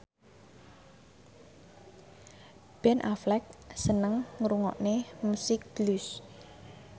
Ben Affleck seneng ngrungokne musik blues